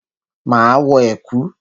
Máa wọ ẹ̀kú.